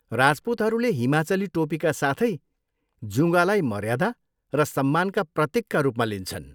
राजपुतहरूले हिमाचली टोपीका साथै जुँगालाई मर्यादा र सम्मानका प्रतीकका रूपमा लिन्छन्।